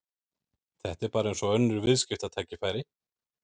Þetta er bara eins og önnur viðskiptatækifæri.